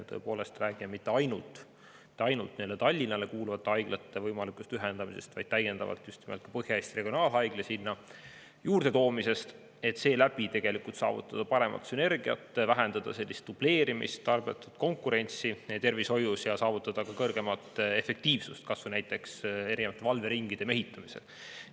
Tõepoolest räägime mitte ainult Tallinnale kuuluvate haiglate võimalikust ühendamisest, vaid just nimelt ka Põhja-Eesti Regionaalhaigla sinna juurde toomisest, et seeläbi saavutada parem sünergia, vähendada dubleerimist ja tarbetut konkurentsi tervishoius ning saavutada suurem efektiivsus näiteks erinevate valveringide mehitamisel.